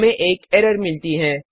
हमें एक एरर मिलती है